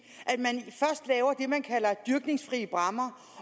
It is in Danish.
man kalder dyrkningsfri bræmmer